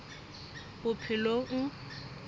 bophelong